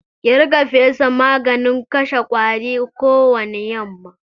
Ki riƙa fesa maganin kashe ƙwari kowani yamma!